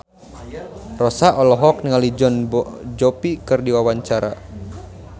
Rossa olohok ningali Jon Bon Jovi keur diwawancara